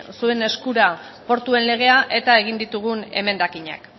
zuen eskura portuen legea eta egin ditugun emendakinak